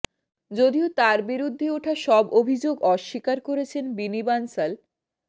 যদিও তার বিরুদ্ধে ওঠা সব অভিযোগ অস্বীকার করেছেন বিনি বানসাল